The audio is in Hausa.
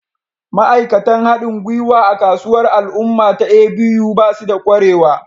Ma'aikatan haɗin gwiwa a kasuwar al'umma ta A.B.U ba su da ƙwarewa